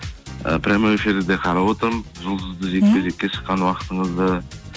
і прямой эфирді де қарап отырмын жұлдызды жекпе жекке шыққан уақытыңызды